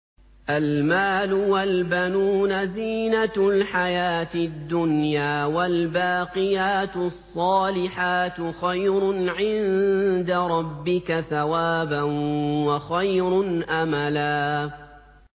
الْمَالُ وَالْبَنُونَ زِينَةُ الْحَيَاةِ الدُّنْيَا ۖ وَالْبَاقِيَاتُ الصَّالِحَاتُ خَيْرٌ عِندَ رَبِّكَ ثَوَابًا وَخَيْرٌ أَمَلًا